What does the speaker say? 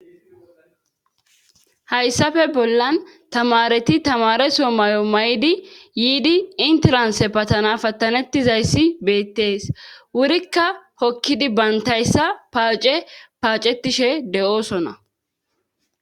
hayssafe bollan tamareti tamareso mayo may7di yiidi intelanse patana pattanettizayssi beettees wurikka hokkidi bantayssa paace paacetishe de7oosona